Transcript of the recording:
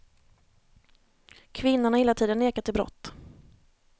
Kvinnan har hela tiden nekat till brott.